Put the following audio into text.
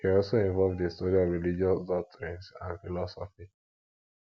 e also involve di study of religious doctrines and philosophy